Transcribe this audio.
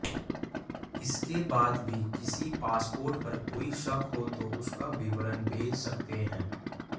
इसके बाद भी किसी पासपोर्ट पर कोई शक हो तो उसका विवरण भेज सकते हैं